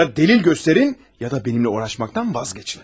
Ya dəlil göstərin, ya da mənimlə uğraşmaqdan vazgeçin.